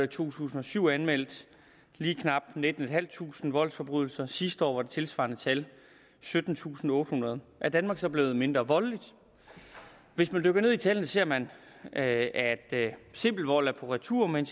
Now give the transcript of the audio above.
tusind og syv anmeldt lige knap nittentusinde voldsforbrydelser sidste år tilsvarende tal syttentusinde og ottehundrede er danmark så blevet mindre voldeligt hvis man dykker ned i tallene ser man at at simpel vold er på retur men